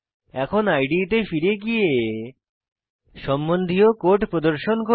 এখন ইদে তে ফিরে গিয়ে সম্বন্ধীয় কোড প্রদর্শন করি